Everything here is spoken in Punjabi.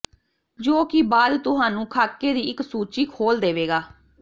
ਜੋ ਕਿ ਬਾਅਦ ਤੁਹਾਨੂੰ ਖਾਕੇ ਦੀ ਇੱਕ ਸੂਚੀ ਖੋਲ ਦੇਵੇਗਾ